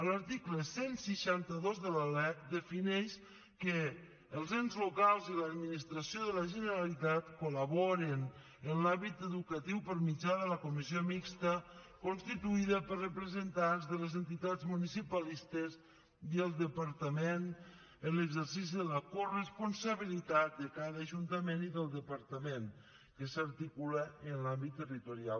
l’article cent i seixanta dos de la lec defineix que els ens locals i l’administració de la generalitat col·laboren en l’àmbit educatiu per mitjà de la comissió mixta constituïda per representants de les entitats municipalistes i el departament en l’exercici de la coresponsabilitat de cada ajuntament i del departament que s’articula en l’àmbit territorial